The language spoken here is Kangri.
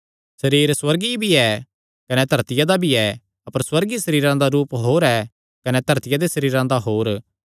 सरीर सुअर्गीय भी ऐ कने धरतिया दा भी ऐ अपर सुअर्गीय सरीरां दा रूप होर ऐ कने धरतिया दे सरीरां दा होर